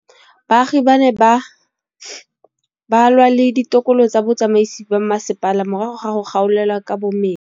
Baagi ba ne ba lwa le ditokolo tsa botsamaisi ba mmasepala morago ga go gaolelwa kabo metsi